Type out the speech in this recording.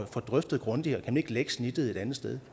får drøftet grundigere om ikke lægge snittet et andet sted